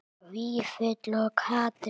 Vífill og Katrín.